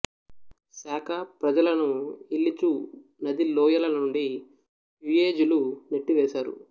శాకాప్రజలను ఇల్లి చు నదీ లోయల నుండి యుయెజిలు నెట్టివేసారు